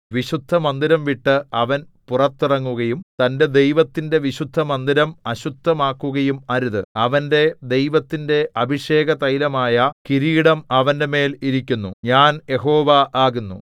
വിശുദ്ധമന്ദിരം വിട്ട് അവൻ പുറത്തിറങ്ങുകയും തന്റെ ദൈവത്തിന്റെ വിശുദ്ധമന്ദിരം അശുദ്ധമാക്കുകയും അരുത് അവന്റെ ദൈവത്തിന്റെ അഭിഷേകതൈലമായ കിരീടം അവന്റെമേൽ ഇരിക്കുന്നു ഞാൻ യഹോവ ആകുന്നു